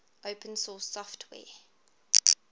open source software